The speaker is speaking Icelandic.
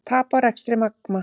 Tap á rekstri Magma